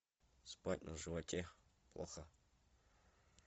спать на животе плохо